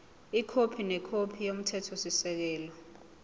ikhophi nekhophi yomthethosisekelo